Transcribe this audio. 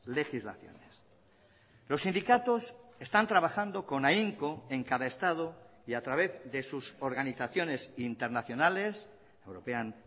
legislaciones los sindicatos están trabajando con ahínco en cada estado y a través de sus organizaciones internacionales european